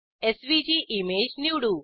SVG image निवडू